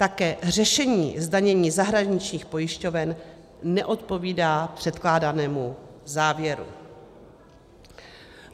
Také řešení zdanění zahraničních pojišťoven neodpovídá předkládanému závěru.